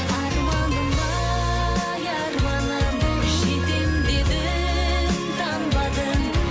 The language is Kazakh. арманым ай арманым жетем дедің танбадың